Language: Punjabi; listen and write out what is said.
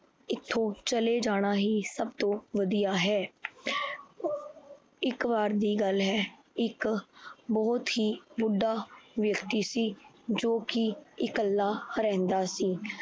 ਏਥੋਂ ਚਲੇ ਜਾਣਾ ਹੀ ਸਭ ਤੋਂ ਵਧੀਆ ਹੈ। ਇੱਕ ਬਾਰ ਦੀ ਗੱਲ ਹੈ। ਇੱਕ ਬਹੁਤ ਹੀ ਬੁੱਢਾ ਵਿਅਕਤੀ ਸੀ ਜੋ ਕੀ ਇਕੱਲਾ ਰਹਿੰਦਾ ਸੀ।